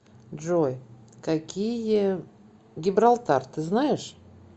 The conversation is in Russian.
джой какие гибралтар ты знаешь